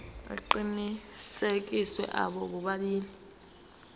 aqinisekisiwe abo bobabili